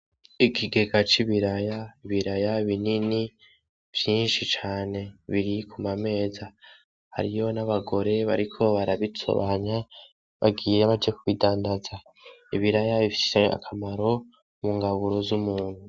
Ikigega c'ibiraya, ibiraya binini vyinshi cane biri kumameza. Hariyo nabagore bariko barabitsobanya bagiye baje kubidandaza, ibiraya bifise akamaro mungaburo z'umuntu.